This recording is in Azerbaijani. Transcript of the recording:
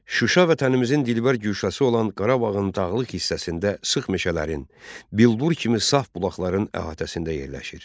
Şuşa vətənimizin dilbər güşəsi olan Qarabağın dağlıq hissəsində sıx meşələrin, bilbur kimi saf bulaqların əhatəsində yerləşir.